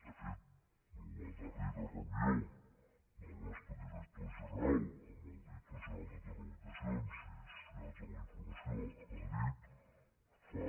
de fet la darrera reunió del nostre director general amb el director general de telecomunicacions i societat de la informació a madrid va ser fa